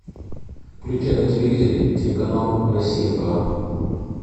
включи на телевизоре телеканал россия к